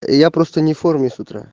я просто не в форме сс утра